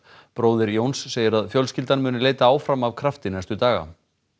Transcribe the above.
bróðir Jóns segir að fjölskyldan muni leita áfram af krafti næstu daga